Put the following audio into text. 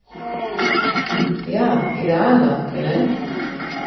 Ja, idealna, kaj ne?